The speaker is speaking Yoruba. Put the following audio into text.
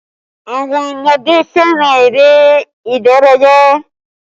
Àwọn ọmọdé fẹ́ràn eré ìdárayá